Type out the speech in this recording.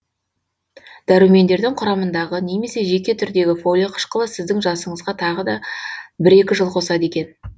дәрумендердің құрамындағы немесе жеке түрдегі фолий қышқылы сіздің жасыңызға тағы да бір екі жыл қосады екен